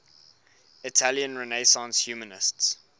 italian renaissance humanists